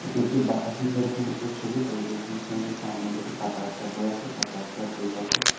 এটি একটি বালাজি হেলথ সেন্টারের ছবি বালাজি হেলথ সেন্টারের সামনে দিয়ে একটি পাকা রাস্তা বয়ে যাচ্ছে পাকা রাস্তার দুইপাশে--